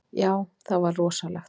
Já, það var rosalegt.